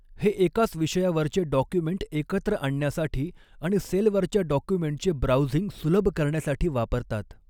हे एकाच विषयावरचॆ डॉक्युमेंट एकत्र आणण्यासाठी आणि सेलवरच्या डॉक्युमेंटचे ब्राउझिंग सुलभ करण्यासाठी वापरतात.